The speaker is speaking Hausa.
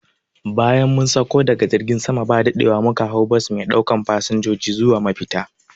Bayan mun sakko daga jirgin sama ba daɗewa muka hau bas me ɗaukan fasanjoji zuwa mafita